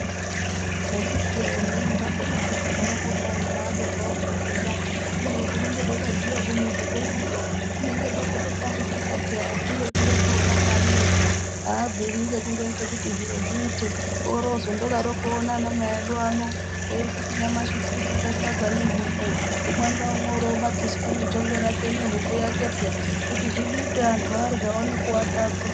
Akiti wee zvimweni zvakona zvakagara kudai antu aadi zvawo kureketa kubeni kunenge kwakabviwa ku muzi kweduyo kunenge kwakato tambudzika peya asi ngekundoti ena Mwari ega abviri ngekungo ite kuti zviro zviite ori ozondo daro kuona ana mai edu ano eyiti nyamashi tiri kurya sadza ne huku umwe nga umwe eyi batiswa ne njongwe rake ne huku yake peya kuti zvibikwe antu arye aone kuwata aguta.